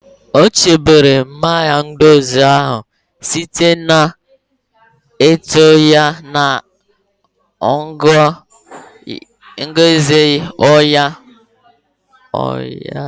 O chebere Mayonezi ahụ site n'itinye ya na ngwa nju oyi ụnyaahụ.